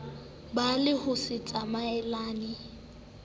ba le ho se tsamaelane